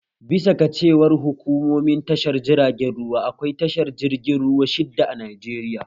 Bisa ga cewar hukumomin tashar jiragen ruwa, akwai tashar jirgin ruwa shidda a Najeriya